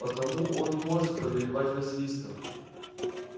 потому он и может повелевать василиском